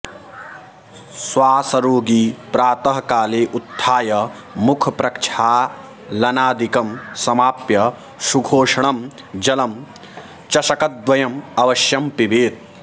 श्वासरोगी प्रातः काले उत्थाय मुखप्रक्षालनादिकं समाप्य सुखोष्णं जलं चषकद्वयं अवश्यं पिबेत्